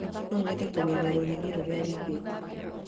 No nyende kũmenya rũrigi rũrĩa ũigĩte